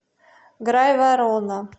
грайворона